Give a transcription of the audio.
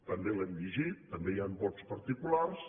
també l’hem llegit també hi han vots particulars